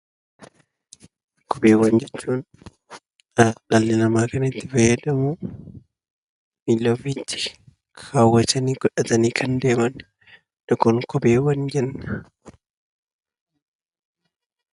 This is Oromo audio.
Kophee jechuun kan dhalli namaa itti fayyadamuu kan miila isaatti godhachuun yookiin kaawwachuun kan ittiin adeemaan kophee Jenna.